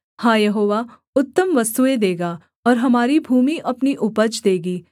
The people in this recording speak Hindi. हाँ यहोवा उत्तम वस्तुएँ देगा और हमारी भूमि अपनी उपज देगी